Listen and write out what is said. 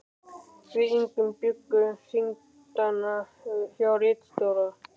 Við Ingi bjuggum þingdagana hjá ritstjóra